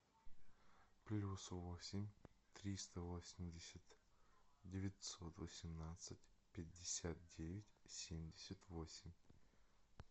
плюс восемь триста восемьдесят девятьсот восемнадцать пятьдесят девять семьдесят восемь